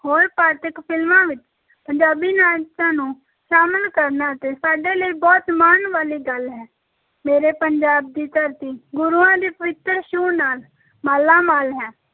ਹੋਰ ਪਾਂਤਕ ਫ਼ਿਲਮਾਂ ਵਿੱਚ ਪੰਜਾਬੀ ਨਾਚਾਂ ਨੂੰ ਸ਼ਾਮਲ ਕਰਨਾ ਅਤੇ ਸਾਡੇ ਲਈ ਬਹੁਤ ਮਾਣ ਵਾਲੀ ਗੱਲ ਹੈ, ਮੇਰੇ ਪੰਜਾਬ ਦੀ ਧਰਤੀ ਗੁਰੂਆਂ ਦੀ ਪਵਿੱਤਰ ਛੂਹ ਨਾਲ ਮਾਲਾਮਾਲ ਹੈ।